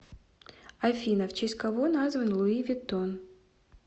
афина в честь кого назван луи виттон